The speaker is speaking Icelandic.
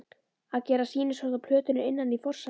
að gera sýnishorn af plötum innan í forsalinn.